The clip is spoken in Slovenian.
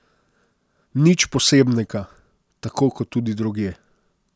Nič posebnega, tako kot tudi drugje.